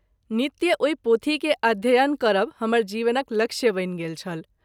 नित्य ओहि पोथी के अध्ययन करब हमर जीवनक लक्ष्य बनि गेल छल।